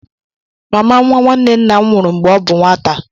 Mama nwa nwanne nna m nwụrụ mgbe ọ bụ nwata